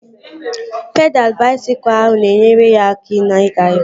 Pedalụ baisikụl ahụ na-enyere ya aka na-ịga iru